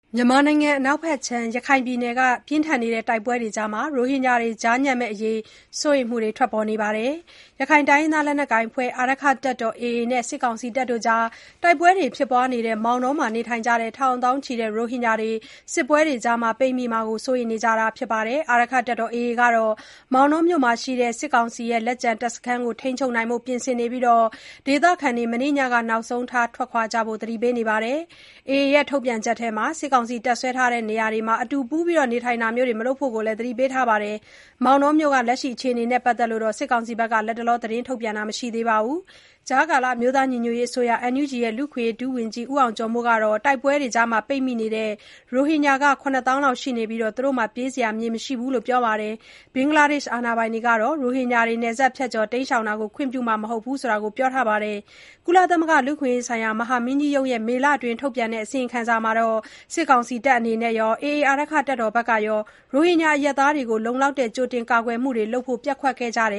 မြန်မာနိုင်ငံအနောက်ဖက်ခြမ်း ရခိုင်ပြည်နယ်မှာ တိုက်ပွဲတွေကြား ရိုဟင်ဂျာတွေ ကြားညပ်မယ့်အရေး စိုးရိမ်မှုတွေ ထွက်ပေါ်နေပါတယ်။ ရခိုင်တိုင်းရင်းသား လက်နက်ကိုင် အာရက္ခတပ်တော် AA နဲ့ စစ်ကောင်စီကြား တိုက်ပွဲတွေဖြစ်ပွားနေတဲ့ မောင်တောမှာ နေထိုင်ကြတဲ့ ထောင်သောင်းချီတဲ့ ရိုဟင်ဂျာတွေ စစ်ပွဲတွေကြား ပိတ်မိမှာကို စိုးရိမ်နေကြတာပါ။ AA အဖွဲ့ကတော့ မောင်တောမြို့မှာရှိတဲ့ စစ်ကောင်စီရဲ့ လက်ကျန်တပ်စခန်းတွေကို ထိန်းချုပ်ဖို့ ပြင်ဆင်နေပြီး ဒေသခံတွေ မနေ့ညက နောက်ဆုံးထား ထွက်ခွာကြဖို့ သတိပေးထားပါတယ်။ AA ရဲ့ ထုတ်ပြန်ချက်ထဲမှာတော့ စစ်ကောင်စီတပ်စွဲထားတဲ့နေရာတွေမှာ အတူပူးတွဲနေထိုင်တာမျိုး မလုပ်ဖို့ကိုလည်း သတိပေးထားပါတယ်။ မောင်တောမြို့က အခြေအနေနဲ့ ပတ်သက်လို့ စစ်ကောင်စီက လတ်တလော သတင်းထုတ်ပြန်တာတော့ မတွေ့ရသေးပါဘူး ကြားကာလ အမျိုးသားညီညွတ်ရေးအစိုးရ NUG ရဲ့ လူ့အခွင့်အရေး ဒုဝန်ကြီးဖြစ်တဲ့ ဦးအောင်ကျော်မိုးကတော တိုက်ပွဲတွေကြားမှာ ပိတ်မိနေတဲ့ ရိုဟင်ဂျာလူဦးရေဟာ ၇ သောင်းလောက်ရှိနေပြီး၊ ပြေးစရာမြေ မရှိဘူးလို့လည်း ပြောပါတယ်။ ဘင်္ဂလားဒေ့ရှ် အာဏာပိုင်တွေကတော့ ရိုဟင်ဂျာတွေ နယ်စပ်ဖြတ်ကျော် တိမ်းရှောင်တာမျိုး ခွင့်ပြုမှာ မဟုတ်ကြောင်း ပြောဆိုထားပါတယ်။ ကုလသမဂ္ဂ လူ့အခွင့်အရေးဆိုင်ရာ မဟာမင်းကြီးရုံးရဲ့ မေလအတွင်းက ထုတ်ပြန်တဲ့ အစီရင်ခံစာ မှာတော့ စစ်ကောင်စီဘက်ကရော AA ဘက်ကပါ ရိုဟင်ဂျာအရပ်သားတွေကို လုံလောက်တဲ့ ကြိုတင် ကာကွယ်မှုတွေလုပ်ဖို့ ပျက်ကွက်ခဲ့ကြတယ